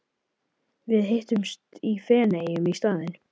Við hittumst í Feneyjum í staðinn.